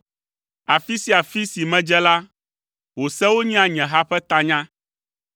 Afi sia afi si medze la, wò sewo nyea nye ha ƒe tanya.